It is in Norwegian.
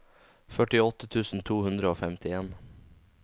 førtiåtte tusen to hundre og femtien